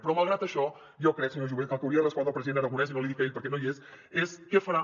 però malgrat això jo crec senyor jové que el que hauria de respondre el president aragonès i no l’hi dic a ell perquè no hi és és què farà